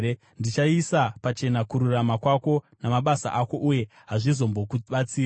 Ndichaisa pachena kururama kwako namabasa ako, uye hazvizombokubatsiri.